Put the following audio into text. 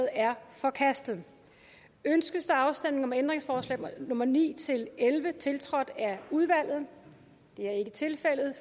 er forkastet ønskes der afstemning om ændringsforslag nummer ni elleve tiltrådt af udvalget det er ikke tilfældet